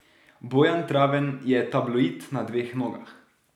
Bojan Traven je tabloid na dveh nogah.